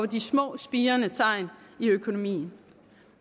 de små spirende tegn i økonomien